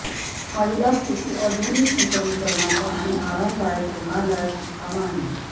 महिला स्तुती आधुनिक नूतनीकरणाच्या आणि आरामदायक रुग्णालयात मुक्काम आहे